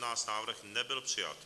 Návrh nebyl přijat.